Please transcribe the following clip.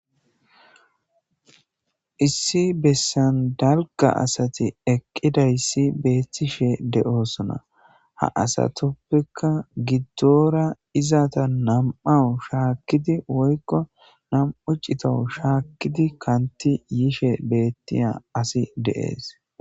Issi bessan dalga asati eqqidayssi beettishe de'oosona ha asatoppekka giddora izata nam'awu shaakkidi woykko nam'u citowu shaakkidi kanti yiishe beettiya asi de'ees.